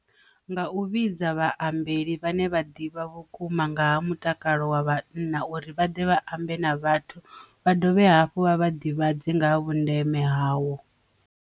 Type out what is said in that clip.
Nga u vhidza vhahumbeli vhane vha ḓivha vhukuma nga ha mutakalo wa vhanna uri vha ḓe vha ambe na vhathu vha dovhe hafhu vha vha ḓivhadze nga ha vhundeme hawo.